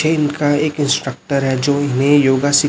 ये इनका एक इंस्ट्रक्टर है जो इन्हें योगा सी--